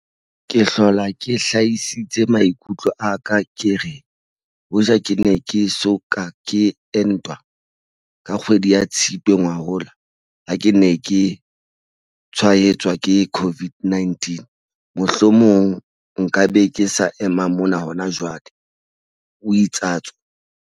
Ke hlola ke hlahisitse maikutlo a ka ke re, hoja ke ne ke eso ka ke entwa, ka kgwedi ya Tshitwe ngwahola ha ke ne ke tshwaetswa ke COVID-19, mohlomong nka be ke sa ema mona hona jwale, o itsatso.